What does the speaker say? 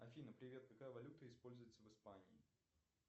афина привет какая валюта используется в испании